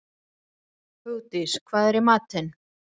Hugdís, hvað er í matinn?